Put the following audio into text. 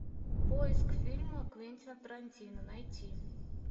поиск фильма квентина тарантино найти